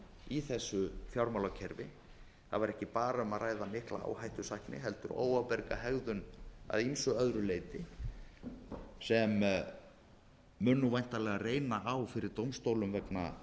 í þessu fjármálakerfi það var ekki bara um að ræða mikla áhættusækni heldur óábyrga hegðun að ýmsu öðru leyti sem mun væntanlega reyna á fyrir dómstólum vegna